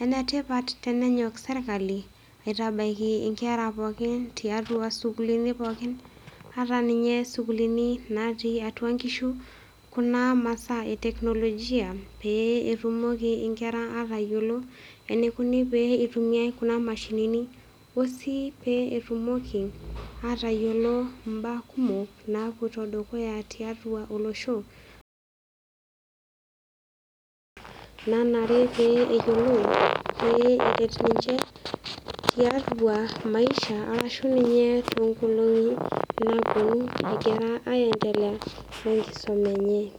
.Enetipat tenenyok sirkali aitabaiki inkera tiatua sukuulini pookin ata ninye isukuulini natii atua nkishu kuna masaa eteknolojia pee etumoki inkera atayiolo enikoni pee itumiay kuna mashinini osii pee atayiolo mbaa kumok napoito dukuya tiatua olosho nanare pee eyiolou pee eret ninche tiatua maisha arashu ninye toonkolongi napuoni egira aendelea wenkisuma enye.